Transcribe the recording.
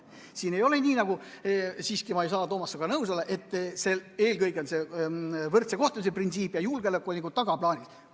Siin ma ei saa, Toomas, olla sinuga nõus, et eelkõige on oluline võrdse kohtlemise printsiip ja julgeolek on nagu tagaplaanil.